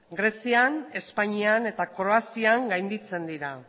grezian espainian eta kroazian gainditzen dira